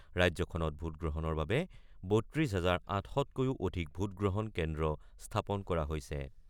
ৰাজ্যখনত ভোটগ্ৰহণৰ বাবে ৩২ হাজাৰ ৮০০তকৈও অধিক ভোটগ্ৰহণ কেন্দ্ৰ স্থাপন কৰা হৈছে।